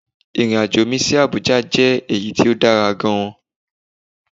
Irin-ajo mi si Abuja jẹ eyi ti o dara gaan